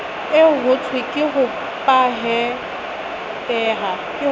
eo hothweng ke hopahete ha